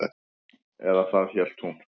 Eða það hélt hún.